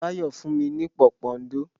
Báyọ̀ fún mi ní pòpondò.